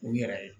U yɛrɛ ye